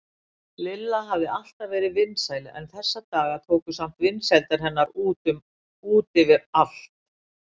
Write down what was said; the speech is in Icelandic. Lilla hafði alltaf verið vinsæl en þessa daga tóku samt vinsældir hennar út yfir allt.